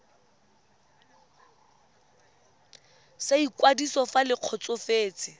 sa ikwadiso fa le kgotsofetse